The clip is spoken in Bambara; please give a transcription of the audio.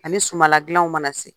Ani suma ladilanw mana se.